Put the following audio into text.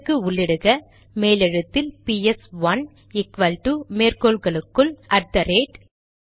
இதற்கு உள்ளிடுக மேலெழுத்தில் பிஎஸ்ஒன்று ஈக்வல்டு மேற்கோள்களுக்குள் அட் தெ ரேட்